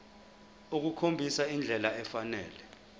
ukukhombisa indlela efanele